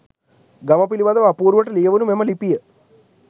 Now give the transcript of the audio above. ගම පිලිබඳව අපූරුවට ලියවුනු මෙම ලිපිය